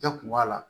Bɛɛ kun b'a la